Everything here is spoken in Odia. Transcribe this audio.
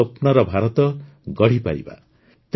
ତାଙ୍କ ସ୍ୱପ୍ନର ଭାରତ ଗଢ଼ିପାରିବା